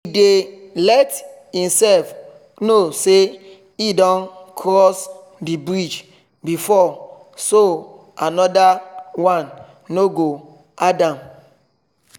he dey let e self know say e don cross the bridge before so another one no go hard am